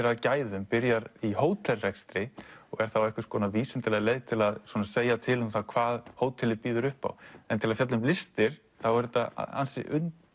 að gæðum byrjar í hótelrekstri og er þá einhvers konar vísindaleg leið til að segja til um hvað hótelið býður upp á en til að fjalla um listir er þetta ansi